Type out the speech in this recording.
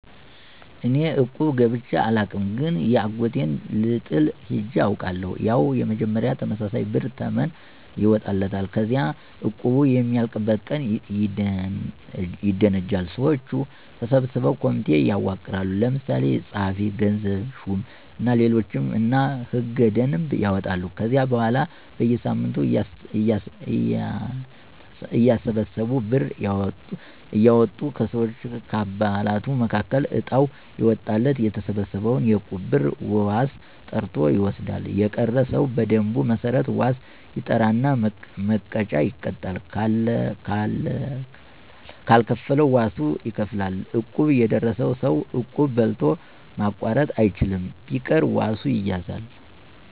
እኔ እቁብ ገብቸ አላውቅም ግን የአጎቴን ልጥል ሄጀ አውቃለሁ። ያው መጀመሪያ ተመሳሳይ ብር ተመን ይወጣለታል። ከዚያ እቁቡ የሚያልቅበት ቀን ይደነጃል። ሰወቹ ተሰብስበው ኮሚቴ ያዋቅራሉ። ለምሳሌ ጸሀፊ፣ ገንዘብ ሹም እና ሌሎችም እና ሕገ - ደንብ ያወጣሉ። ከዚያ በኋላ በየሳምንቱ እያተሰበሰቡ ብር እያወጡ ከሰወች(ከአባላቱ)መካከል እጣው የወጣለት የተሰበሰበውን የእቁብ ብር ዋስ ጠርቶ ይወስዳል። የቀረ ሰው በደንቡ መሠረት ዋስ ይጠራና መቀጫ ይቀጣል ካልከፈለ ዋሱ ይከፍላል። እቁብ የደረሰው ሰው እቁብ በልቶ ማቋረጥ አይችልም። ቢቀር ዋሱ ይያዛል።